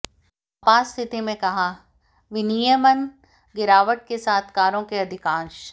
आपात स्थिति में कहा विनियमन गिरावट के साथ कारों के अधिकांश